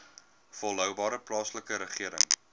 volhoubare plaaslike regering